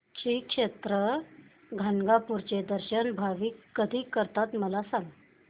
श्री क्षेत्र गाणगापूर चे दर्शन भाविक कधी करतात मला सांग